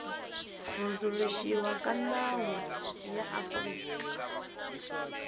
hundzuluxiwa ka nawu ya afrika